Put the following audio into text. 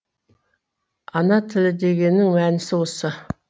ана тілі дегеннің мәнісі осы